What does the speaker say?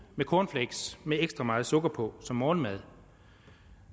med cornflakes med ekstra meget sukker på som morgenmad